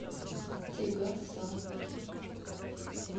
тигасаки